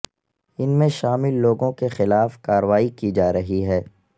ان میں شامل لوگوں کے خلاف کارروائی کی جا رہی ہے